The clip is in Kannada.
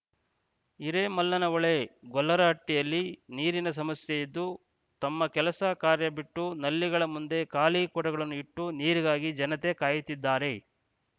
ಹಿರೇಮಲ್ಲನಹೊಳೆ ಗೊಲ್ಲರಹಟ್ಟಿಹಲ್ಲಿ ನೀರಿನ ಸಮಸ್ಯೆ ಇದ್ದು ತಮ್ಮ ಕೆಲಸ ಕಾರ್ಯ ಬಿಟ್ಟು ನಲ್ಲಿಗಳ ಮುಂದೆ ಖಾಲಿ ಕೊಡಗಳನ್ನು ಇಟ್ಟು ನೀರಿಗಾಗಿ ಜನತೆ ಕಾಯುತ್ತಿದ್ದಾರೆ